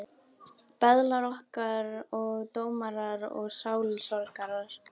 Böðlar okkar og dómarar og sálusorgarar.